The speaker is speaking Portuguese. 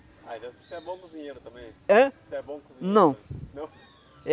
Aí você é bom cozinheiro também? Hã? Você é bom cozinheiro? Não. Não?